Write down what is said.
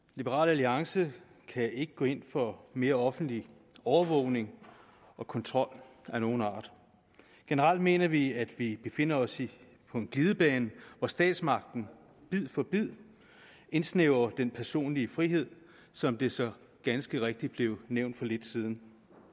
liberal alliance kan ikke gå ind for mere offentlig overvågning og kontrol af nogen art generelt mener vi at vi befinder os på en glidebane hvor statsmagten bid for bid indsnævrer den personlige frihed som det så ganske rigtigt blev nævnt for lidt siden